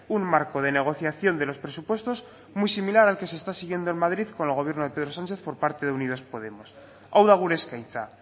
un marco de negociación de los presupuestos muy similar al que se está siguiendo en madrid con el gobierno de pedro sánchez por parte de unidos podemos hau da gure eskaintza